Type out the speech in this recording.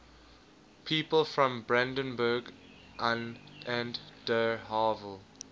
people from brandenburg an der havel